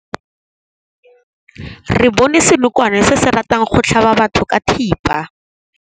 Re bone senokwane se se ratang go tlhaba batho ka thipa.